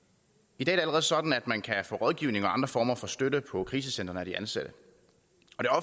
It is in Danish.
i dag er sådan at man kan få rådgivning og andre former for støtte på krisecentrene af de ansatte